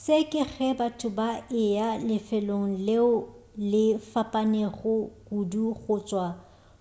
se ke ge batho ba eya lefelong leo le fapanego kudu go tšwa